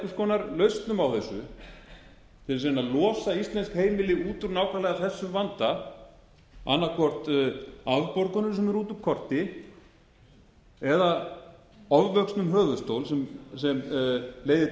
konar lausnum á þessu til þess að reyna að losa íslensk heimili nákvæmlega út úr þessum vanda annað hvort afborgunin sem er út úr korti eða ofvöxnum höfuðstól sem leiðir til